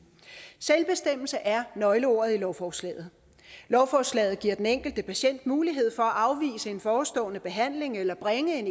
selvbestemmelse er nøgleordet i lovforslaget lovforslaget giver den enkelte patient mulighed for at afvise en forestående behandling eller bringe en